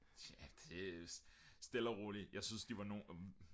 tja det stille og roligt jeg synes de var nogle